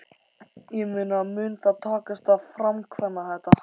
Ég meina mun það takast að framkvæma þetta?